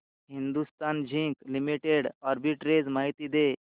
Hindustan zinc limited arbitrage माहिती दे